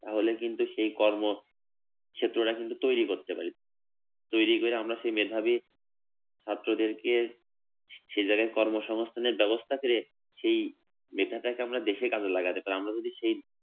তাহলে কিন্তু সেই কর্ম সে তোরা কিন্তু তৈরী করতে পারিস, তৈরী করে আমরা সেই মেধাবী ছাত্রদেরকে সেই জায়গায় কর্মসংস্থানের ব্যবস্থা করে সেই মেধাটাকে আমরা দেশেই কাজে লাগাতে পারি আমরা যদি সেই